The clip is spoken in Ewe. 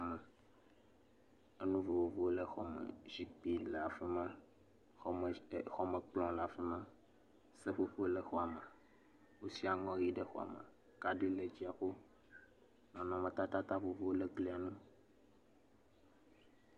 …enu vovovowo le xɔ me, zikpui le afi ma, xɔmekplɔ le afi ma, seƒoƒo le xɔ me, nu sia nu le, kaɖi le dziaƒo, nɔmetata vovovowo le glia ŋu.